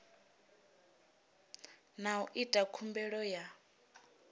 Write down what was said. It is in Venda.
na u ita khumbelo ya